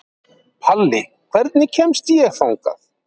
Palli, hvernig kemst ég þangað?